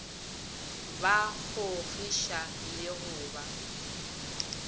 ba kgogiša le go ba